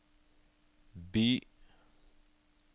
by